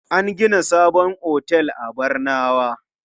An gina sabon otel a Barnawa.